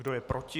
Kdo je proti?